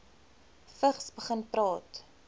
vigs begin praat